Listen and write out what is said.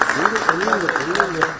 Deyin, deyin.